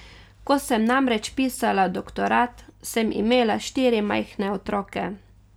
Ko sem namreč pisala doktorat, sem imela štiri majhne otroke.